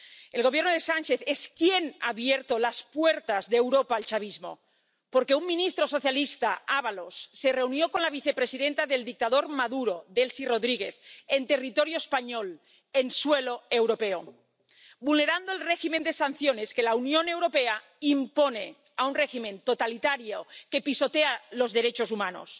El Gobierno de Sánchez es quien ha abierto las puertas de Europa al chavismo, porque un ministro socialista, José Luis Ábalos, se reunió con la vicepresidenta del dictador Maduro, Delcy Rodríguez, en territorio español, en suelo europeo, vulnerando el régimen de sanciones que la Unión Europea impone a un régimen totalitario, que pisotea los derechos humanos.